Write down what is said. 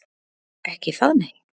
Ekki það, nei?